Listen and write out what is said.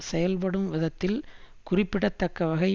செயல்படும் விதத்தில் குறிப்பிடத்தக்க வகை